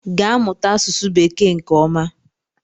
gaa mụta asụsụ bekee nke oma!